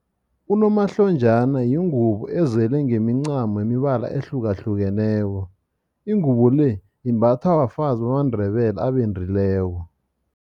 Unomahlonjana yingubo ezele ngemincamo yemibala ehlukahlukeneko. Ingubo le imbathwa bafazi bamaNdebele abendileko.